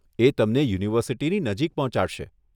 એ તમને યુનિવર્સીટીની નજીક પહોંચાડશે.